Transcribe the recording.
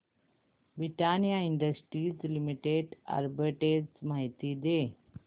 Britannia Industries Limited arbitrage माहिती दे